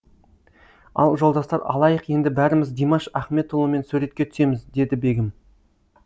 ал жолдастар алайық енді бәріміз димаш ахметұлымен суретке түсеміз деді бегім